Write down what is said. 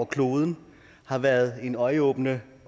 kloden har været en øjenåbner